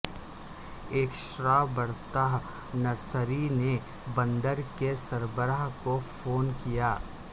ایک starbirth nursery نے بندر کے سربراہ کو فون کیا